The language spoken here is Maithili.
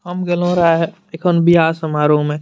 हम गैलो रह हय एखन वियाह समारोह में।